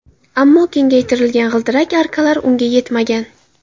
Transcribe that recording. Ammo kengaytirilgan g‘ildirak arkalari unga yetmagan.